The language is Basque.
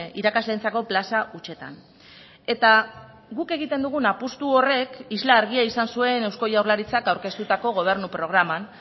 irakasleentzako plaza hutsetan eta guk egiten dugun apustu horrek isla argia izan zuen eusko jaurlaritzak aurkeztutako gobernu programan